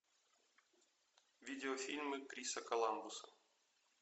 видеофильмы криса коламбуса